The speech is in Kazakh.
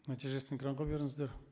нәтижесін экранға беріңіздер